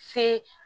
Se